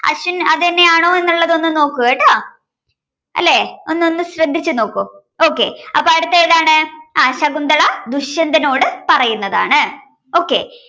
ashwin അത് തന്നെയാണ് എന്നുള്ളത് ഒന്നു നോക്ക് കേട്ടോ അല്ലേ ഒന്ന്ഒന്ന് ശ്രദ്ധിച്ചു നോക്കൂ okay അപ്പോ അടുത്തതേതാണ് ശകുന്തള ദുഷ്യന്തനോട് പറയുന്നതാണ്. okay